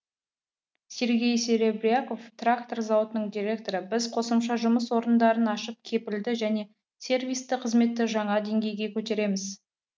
сергей серебряков трактор зауытының директоры біз қосымша жұмыс орындарын ашып кепілді және сервисті қызметті жаңа денгейге көтереміз